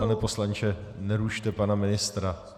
Pane poslanče, nerušte pana ministra.